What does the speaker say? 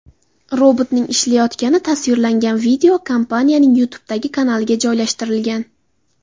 Robotning ishlayotgani tasvirlangan video kompaniyaning YouTube’dagi kanaliga joylashtirilgan .